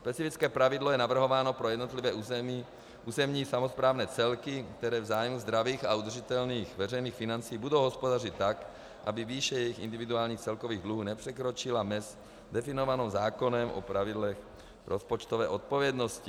Specifické pravidlo je navrhováno pro jednotlivé územní samosprávní celky, které v zájmu zdravých a udržitelných veřejných financí budou hospodařit tak, aby výše jejich individuálních celkových dluhů nepřekročila mez definovanou zákonem o pravidlech rozpočtové odpovědnosti.